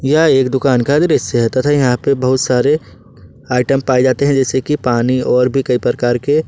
यह एक दुकान का दृश्य है तथा यहां पर बहुत सारे आइटम भी पाए जाते हैं जैसे कि पानी और भी कई प्रकार के।